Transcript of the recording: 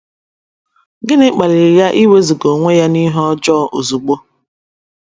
Gịnị kpaliri ya iwezụga onwe ya n’ihe ọjọọ ozugbo?